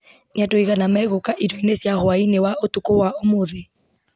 nĩ andũ aigana megũka irio-inĩ cia hwaĩ-inĩ wa ũtukũ wa ũmũthĩ